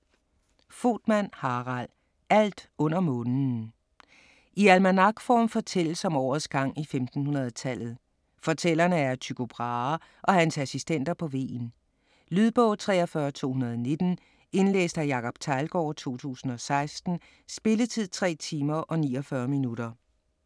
Voetmann, Harald: Alt under månen I almanakform fortælles om årets gang i 1500-tallet. Fortællerne er Tycho Brahe og hans assistenter på Hven. Lydbog 43219 Indlæst af Jacob Teglgaard, 2016. Spilletid: 3 timer, 49 minutter.